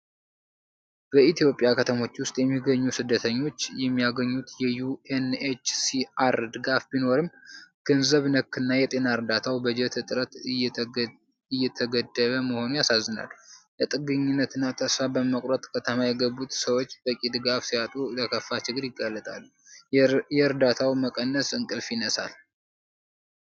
በኢትዮጵያ ከተሞች ውስጥ የሚገኙ ስደተኞች የሚያገኙት የዩ.ኤን.ኤች.ሲ.አር ድጋፍ ቢኖርም፣ ገንዘብ ነክና የጤና እርዳታው በጀት እጥረት እየተገደበ መሆኑ ያሳዝናል። ለጥገኝነትናተስፋ በመቁረጥ ከተማ የገቡት ሰዎች በቂ ድጋፍ ሲያጡ ለከፋ ችግር ይጋለጣሉ። የእርዳታው መቀነስ እንቅልፍ ይነሳል!